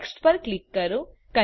next પર click કરો